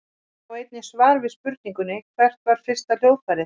Sjá einnig svar við spurningunni Hvert var fyrsta hljóðfærið?